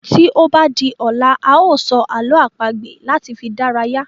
Tí o ba di ọ̀la a sọ àlọ́ àpagbè láti fi dárayá